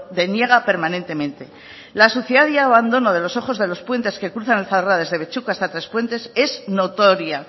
deniega permanentemente la suciedad y abandono de los ojos de los puentes que cruzan el zadorra desde abetxuko hasta tres puentes es notoria